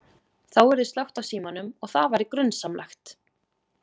Þá yrði slökkt á símanum og það væri grunsamlegt.